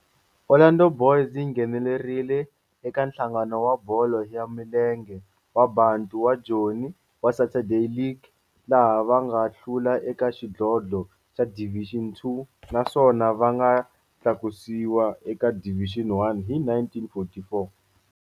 Orlando Boys yi nghenelerile eka Nhlangano wa Bolo ya Milenge wa Bantu wa Joni wa Saturday League, laha va nga hlula eka xidlodlo xa Division Two naswona va nga tlakusiwa eka Division One hi 1944.